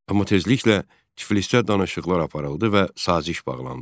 Amma tezliklə Tiflisdə danışıqlar aparıldı və saziş bağlandı.